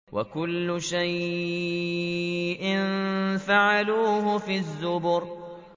وَكُلُّ شَيْءٍ فَعَلُوهُ فِي الزُّبُرِ